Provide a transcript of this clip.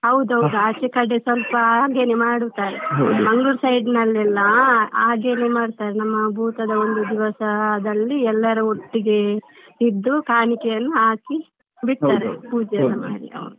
ಹೌದೌದು ಆಚೆ ಕಡೆ ಸ್ವಲ್ಪ ಹಾಗೇನೇ ಮಾಡುತ್ತಾರೆ. Mangalore side ನಲ್ಲೆಲ್ಲ ಹಾಗೇನೇ ಮಾಡ್ತಾರೆ ನಮ್ಮ ಭೂತ ದ ಒಂದು ದಿವಸದಲ್ಲಿ ಎಲ್ಲರು ಒಟ್ಟಿಗೆ ಇದ್ದು ಕಾಣಿಕೆಯೆಲ್ಲ ಹಾಕಿ ಬಿಡ್ತಾರೆ.